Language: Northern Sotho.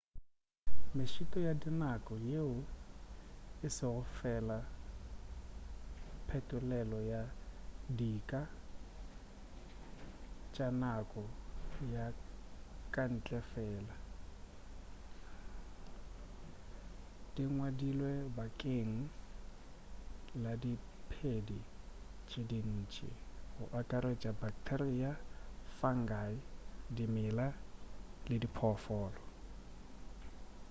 mešito ya dinako yeo e se go fela phetolelo go dika tša nako ya kantle fela e ngwadilwe bakeng la diphedi tše dintši go akaretša bacteria fungi dimela le diphoofolo